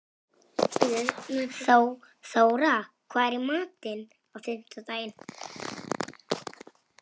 Þóra, hvað er í matinn á fimmtudaginn?